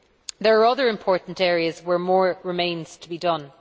There are other important areas where more remains to be done.